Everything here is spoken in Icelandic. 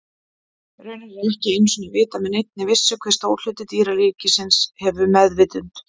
Raunar er ekki einu sinni vitað með neinni vissu hve stór hluti dýraríkisins hefur meðvitund.